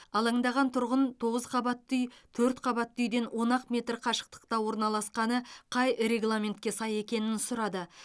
алаңдаған тұрғын тоғыз қабатты үй төрт қабатты үйден он ақ метр қашықтықта орналасқаны қай регламентке сай екенін сұрады